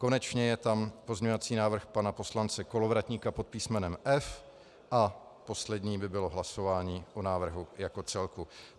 Konečně je tam pozměňovací návrh pana poslance Kolovratníka pod písmenem F a poslední by bylo hlasování o návrhu jako celku.